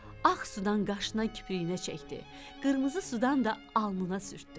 Ağ sudan qaşına, kipriyinə çəkdi, qırmızı sudan da alnına sürtdü.